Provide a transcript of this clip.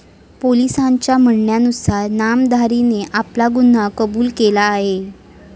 पोलिसांच्या म्हणण्यानुसार नामधारीने आपला गुन्हा कबूल केला आहे.